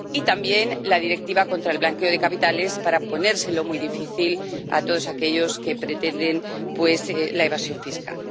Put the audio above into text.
y también la Directiva contra el blanqueo de capitales, para ponérselo muy difícil a todos aquellos que pretenden la evasión fiscal.